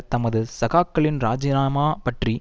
தமது சகாக்களின் இராஜினாமா பற்றி